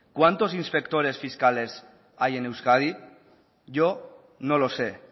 cuántos inspectores fiscales hay en euskadi yo no lo sé